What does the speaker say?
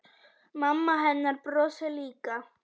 Mamma hennar brosir líka.